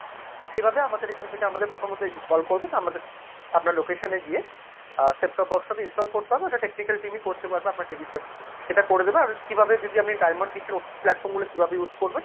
সেভাবে আমাদের এখান থেকে আমাদের প্রথমত call করবে আপনার location এ গিয়ে আ set top box টাতো install করতে হবে ওটা technical team ই করতে পারবে আপনার TV এর সাথে সেটা করে দেবে, কিভাবে যদি আপনি diamond নিচ্ছেন OTT platform গুলো কিভাবে use করবেন।